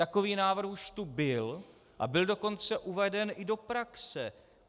Takový návrh už tu byl, a byl dokonce i uveden do praxe.